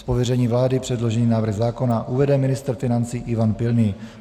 Z pověření vlády předložený návrh zákona uvede ministr financí Ivan Pilný.